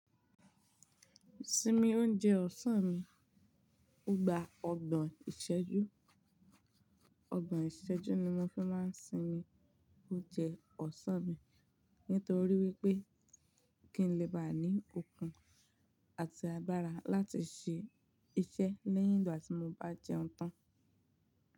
Simi oúnjẹ ọ̀sán mi. Mo gba ọgbọ̀n ìṣẹ́jú. Ọgbọ̀n ìṣẹ́jú ni mo fi máa ń sinmi oúnjẹ ọ̀sán mi. Nítorí wípé kí n lè bá ní okun àti agbára láti ṣe iṣẹ́ lẹ́yìn ìgbà tí mo bá jẹun tán.